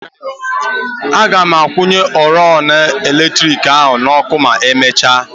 Agam akwụnye oriọna eletriki ahụ n'ọkụ ma emechia.